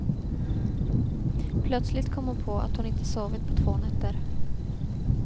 Plötsligt kom hon på att hon inte sovit på två nätter.